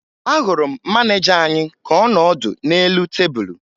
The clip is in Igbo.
Ahụrụ m maneja anyị ka ọ nọ ọdụ n'elu tebulu